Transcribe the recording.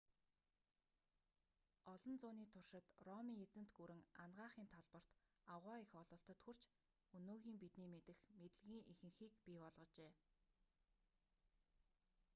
олон зууны туршид ромын эзэнт гүрэн анагаахын талбарт аугаа их ололтод хүрч өнөөгийн бидний мэдэх мэдлэгийн ихэнхийг бий болгожээ